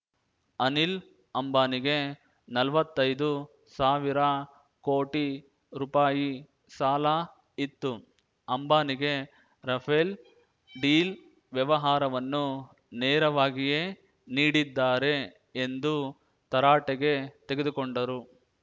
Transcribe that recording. ಅನಿಲ್ ಅಂಬಾನಿಗೆ ನಲ್ವತ್ತೈದು ಸಾವಿರ ಕೋಟಿ ರೂಪಾಯಿ ಸಾಲ ಇತ್ತು ಅಂಬಾನಿಗೆ ರಫೇಲ್ ಡೀಲ್ ವ್ಯವಹಾರವನ್ನು ನೆರವಾಗಿಯೇ ನೀಡಿದ್ದಾರೆ ಎಂದು ತರಾಟೆಗೆ ತೆಗೆದು ಕೊಂಡರು